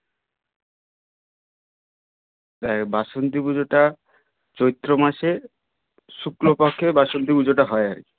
দেখ বাসন্তী পুজোটা চৈত্র মাসের শুক্ল পক্ষের বাসন্তী পুজোটা হয় আর কি